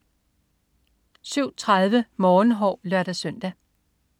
07.30 Morgenhår (lør-søn)